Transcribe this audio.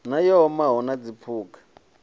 na yo omaho na zwiphuga